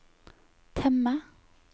temme